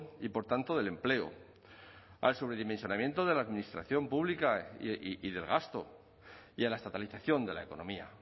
y por tanto del empleo al sobredimensionamiento de la administración pública y del gasto y a la estatalización de la economía